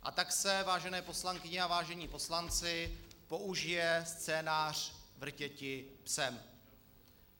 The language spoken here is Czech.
A tak se, vážené poslankyně a vážení poslanci, použije scénář Vrtěti psem.